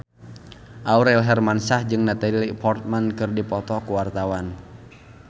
Aurel Hermansyah jeung Natalie Portman keur dipoto ku wartawan